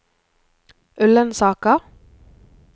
Ullensaker